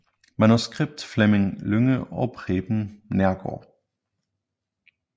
Manuskript Fleming Lynge og Preben Neergaard